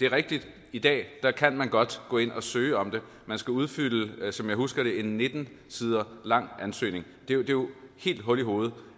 det er rigtigt at i dag kan man godt gå ind og søge om det man skal udfylde som jeg husker det en nitten sider lang ansøgning det er jo helt hul i hovedet